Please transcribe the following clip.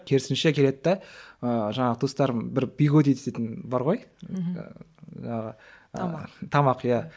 керісінше келеді де ыыы жаңағы туыстарым бір пигоди дейтін бар ғой мхм ыыы тамақ тамақ иә